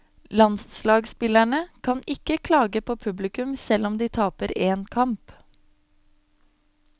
Landslagsspillerne kan ikke klage på publikum selv om de taper én kamp.